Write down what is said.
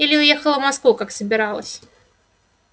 или уехала в москву как собиралась